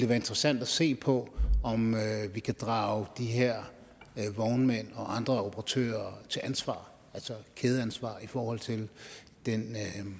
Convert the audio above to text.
være interessant at se på om vi kan drage de her vognmænd og andre operatører til ansvar altså kædeansvar i forhold til den